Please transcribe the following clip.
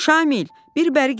Şamil, bir bəri gəl.